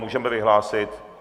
Můžeme vyhlásit...